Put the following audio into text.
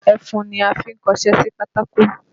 Ẹfun ni a fi ń kọṣé sí pátákó